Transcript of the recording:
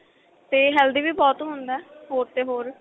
ਤੇ healthy ਵੀ ਬਹੁਤ ਹੁੰਦਾ ਹੋਰ ਤੇ ਹੋਰ